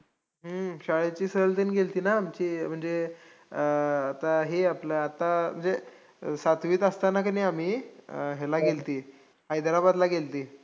हम्म शाळेची सहलतेन गेल्ती ना आमची. म्हणजे अं आता हे आपलं, आता हे आपलं सातवीत असताना किनी आम्ही, अं ह्याला गेल्ती, हैद्राबादला गेल्ती